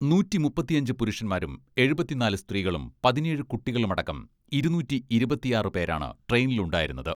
നൂറ്റി മുപ്പത്തഞ്ച് പുരുഷന്മാരും എഴുപത്തിനാല് സ്ത്രീകളും പതിനേഴ് കുട്ടികളുമടക്കം ഇരുനൂറ്റി ഇരുപത്തിയാറ് പേരാണ് ട്രെയിനിലുണ്ടായിരുന്നത്.